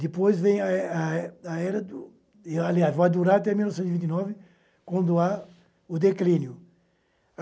Depois vem a é a é a era, do aliás, vai durar até mil novecentos e vinte e nove, quando há o declínio.